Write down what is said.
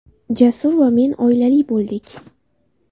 Jasur va men oilali bo‘ldik.